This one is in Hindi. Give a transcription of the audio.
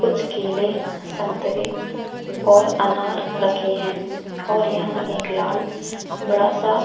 कुछ केले संतरे और अनार रखे है और यहाँ एक लाल बड़ा सा--